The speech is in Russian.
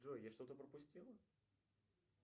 джой я что то пропустила